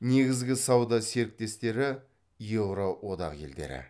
негізгі сауда серіктестері еуроодақ елдері